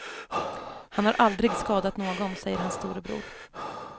Han har aldrig skadat någon, säger hans storebror.